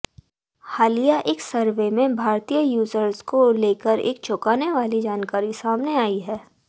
हालिया एक सर्वे में भारतीय यूजर्स को लेकर एक चौंकाने वाली जानकारी सामने आई है